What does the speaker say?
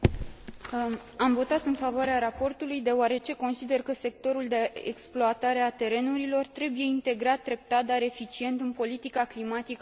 Am votat în favoarea raportului, deoarece consider că sectorul de exploatare a terenurilor trebuie integrat treptat, dar eficient în politica climatică a Uniunii.